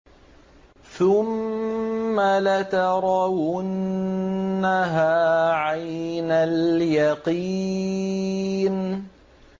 ثُمَّ لَتَرَوُنَّهَا عَيْنَ الْيَقِينِ